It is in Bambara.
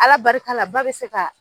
ALA barika la ba bɛ se ka.